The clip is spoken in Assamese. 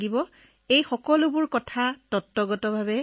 তাৰ পিছত ছাৰ আকৌ এবাৰ কম্পিউটাৰত পৰীক্ষা কৰা হল